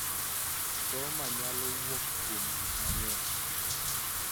Trauma nyalo wuok kuom gik mang�eny�